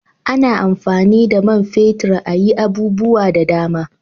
A na amfani da man fetir a yi abubuwa da dama